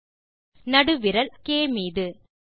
மீது நடுவிரல் அல்பாபெட் க்